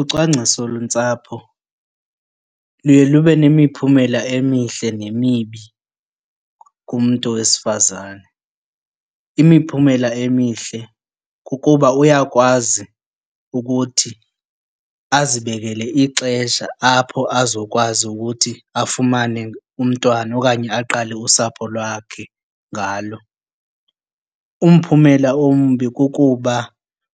Ucwangciso lentsapho luye lube nemiphumela emihle nemibi kumntu wesifazane. Imiphumela emihle kukuba uyakwazi ukuthi azibekele ixesha apho azokwazi ukuthi afumane umntwana okanye aqale usapho lwakhe ngalo. Umphumela ombi kukuba